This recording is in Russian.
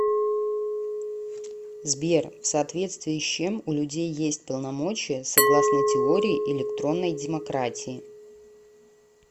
сбер в соответствии с чем у людей есть полномочия согласно теории электронной демократии